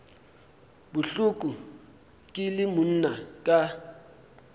bohloko ke le monna ka